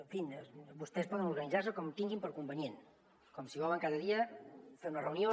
en fi vostès poden organitzar se com tinguin per convenient com si volen cada dia fer una reunió